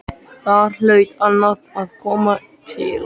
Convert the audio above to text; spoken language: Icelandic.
Þar hlaut annað að koma til.